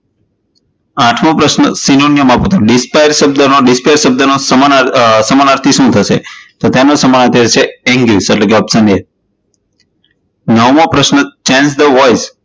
આઠમો પ્રશ્ન, synonyms aapo, dispire શબ્દ નો dispire શબ્દ નો સમાનાર્થી શું થશે? તો તેનો સમાનાર્થી થશે angage એટલે કે option a, નવમો પ્રશ્ન, change the voice